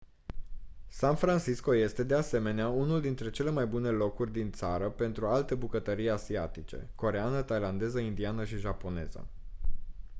san francisco este de asemenea unul dintre cele mai bune locuri din țară pentru alte bucătării asiatice coreeană thailandeză indiană și japoneză